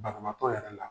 Banabaatɔ yɛrɛ la